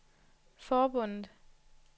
forbundet